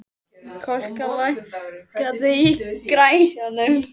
Kolka, lækkaðu í græjunum.